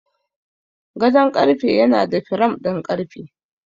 Gadon karfe yana da firam ɗin ƙarfe.